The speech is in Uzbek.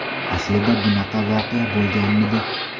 Aslida bunaqa voqea bo‘lmaganmidi?